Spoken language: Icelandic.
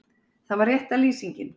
Það var rétta lýsingin.